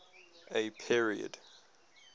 a period